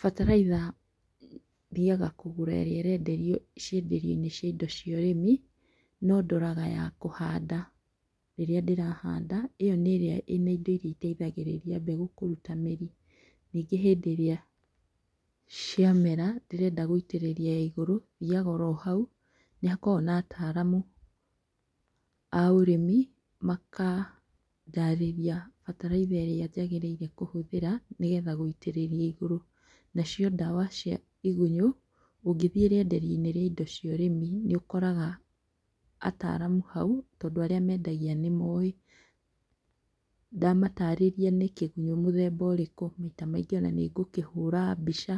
Bataraitha thiaga kũgũra ĩrĩa ĩrenderio cienderio-inĩ cia indo cia ũrĩmi, nondoraga ya kũhanda rĩrĩa ndĩrahanda. ĩo nĩĩrĩa ya indo iria iteithagĩrĩria mbegũ kũrua mĩri. Nyingĩ hĩndĩ ĩrĩa ciamera, ngĩenda gũitĩrĩria ya igũrũ, thiaga o hau. Nĩhakoagwo na atalamu ya ũrĩmi, makandarĩria bataraitha ĩrĩa njagĩrĩire kũhũthĩra, nĩgetha gũitĩrĩria igũrũ. Nacio ndawa cia igunyũ, ũngĩthiĩ rĩenderia-inĩ rĩa indo cia ũrĩmi, nĩũkoraga ataramu hau tondũ arĩa mendagia nĩmoĩ. Ndamatarĩria nĩkĩgunyũ mũthemba ũrĩkũ, maita maingĩ onanĩ ngũkĩhũra mbica